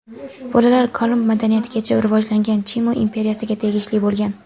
Bolalar Kolumb madaniyatigacha rivojlangan Chimu imperiyasiga tegishli bo‘lgan.